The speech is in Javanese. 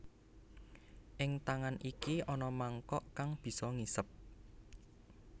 Ing tangan iki ana mangkok kang bisa ngisep